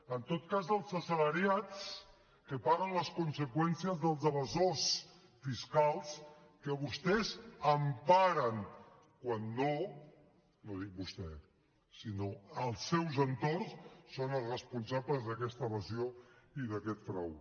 en tot cas els assalariats que paguen les conseqüències dels evasors fiscals que vostès emparen quan no no dic vostè sinó els seus entorns són els responsables d’aquesta evasió i d’aquest frau